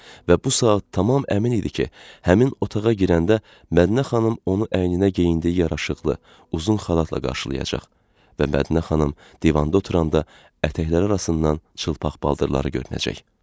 Və bu saat tamam əmin idi ki, həmin otağa girəndə Mədinə xanım onu əyninə geyindiyi yaraşıqlı, uzun xalatla qarşılayacaq və Mədinə xanım divanda oturanda ətəkləri arasından çılpaq baldırları görünəcək.